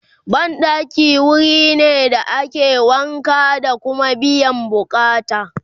banɗaki wurine da ake wanka da Kuma biyan buƙatan